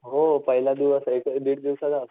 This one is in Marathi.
हो पहिला दिवस एक दिड दिवसाचा